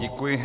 Děkuji.